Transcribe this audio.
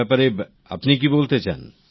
এইব্যাপারে আপনি কি বলতে চান